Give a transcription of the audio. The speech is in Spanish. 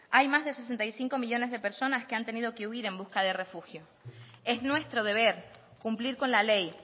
hay más de sesenta y cinco millónes de personas que han tenido que huir en busca de refugio es nuestro deber cumplir con la ley